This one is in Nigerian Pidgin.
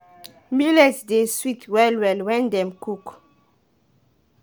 birds dey chop corn before we fit fit commot am from farm.